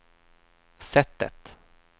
sättet